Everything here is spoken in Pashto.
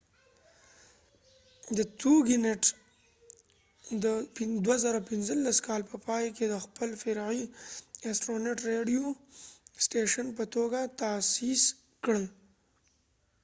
د2015 کال په پای کې toginet د astronet radio د خپل فرعي سټیشن په ټوګه تأسیس کړ